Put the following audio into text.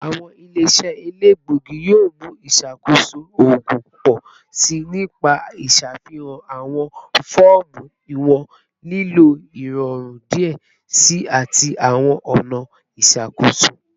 Awọn ile-iṣẹ elegbogi yoo mu iṣakoso oogun pọ si nipa iṣafihan awọn fọọmu iwọn lilo irọrun diẹ sii ati awọn ọna iṣakoso